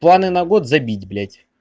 планы на год забить блять